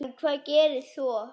En hvað gerðist svo?